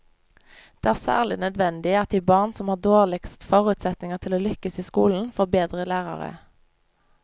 Det er særlig nødvendig at de barn som har dårligst forutsetninger til å lykkes i skolen, får bedre lærere.